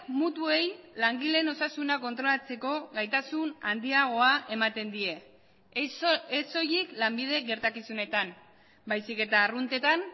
mutuei langileen osasuna kontrolatzeko gaitasun handiagoa ematen die ez soilik lanbide gertakizunetan baizik eta arruntetan